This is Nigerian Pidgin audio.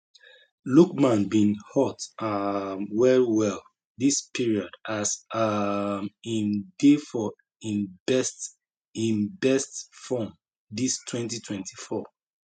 lookman bin hot um wellwell dis period as um im dey for im best im best form dis 2024